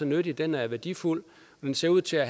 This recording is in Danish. nyttig den er værdifuld den ser ud til at